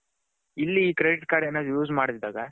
ಇಲ್ಲಿ credit card use ಮಡೆದೆ ಇದಾಗ